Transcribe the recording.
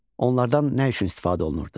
Onlardan nə üçün istifadə olunurdu?